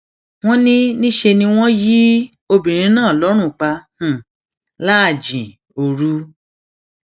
wọn ní níṣẹ ni wọn yin obìnrin náà lọrùn pa láàjìn òru